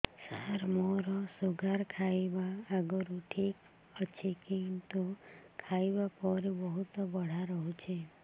ସାର ମୋର ଶୁଗାର ଖାଇବା ଆଗରୁ ଠିକ ଅଛି କିନ୍ତୁ ଖାଇବା ପରେ ବହୁତ ବଢ଼ା ରହୁଛି